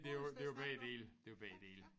Det jo det jo begge dele det jo begge dele